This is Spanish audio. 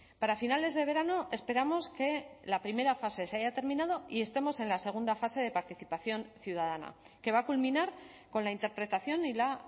para finales de verano esperamos que la primera fase se haya terminado y estemos en la segunda fase de participación ciudadana que va a culminar con la interpretación y la